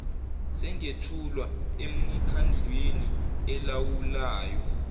singethulwa emikhandlwini elawulayo